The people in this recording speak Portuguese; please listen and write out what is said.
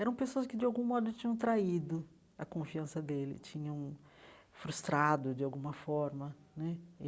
Eram pessoas que, de algum modo, tinham traído a confiança dele, tinham frustrado, de alguma forma né.